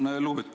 Tänan!